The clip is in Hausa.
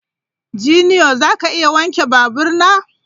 Junior, za ka iya wanke babur na?